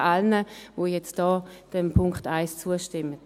Ich danke allen, die jetzt diesem Punkt 1 zustimmen.